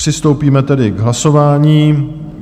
Přistoupíme tedy k hlasování.